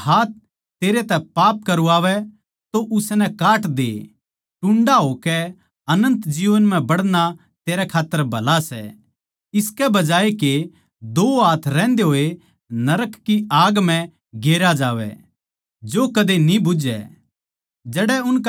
जै तेरा हाथ तन्नै पाप करवावै तो उसनै काट दे टुंडा होकै अनन्त जीवन म्ह बड़ना तेरै खात्तर भला सै इसके बजाये के दो हाथ रहंदे होये नरक की आग म्ह गेरया जावै जो कदे न्ही बुझै